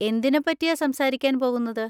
എന്തിനെപ്പറ്റിയാ സംസാരിക്കാൻ പോകുന്നത്?